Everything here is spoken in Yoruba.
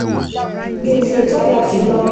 Gbese To Ga Julo